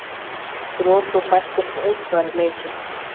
Brot úr þættinum Útsvari leikið.